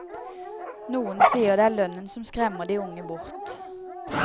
Noen sier det er lønnen som skremmer de unge bort.